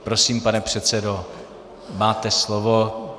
Prosím, pane předsedo, máte slovo.